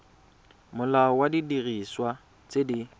molao wa didiriswa tse di